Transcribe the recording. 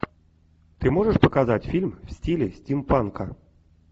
ты можешь показать фильм в стиле стимпанка